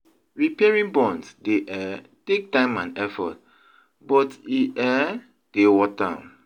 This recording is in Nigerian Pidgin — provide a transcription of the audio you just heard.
Repairing bonds dey um take time and effort, but e um dey worth am.